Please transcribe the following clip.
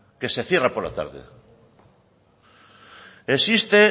que se cierra por la tarde existe